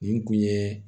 Nin kun ye